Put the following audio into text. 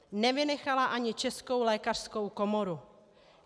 Nevynechala ani Českou lékařskou komoru.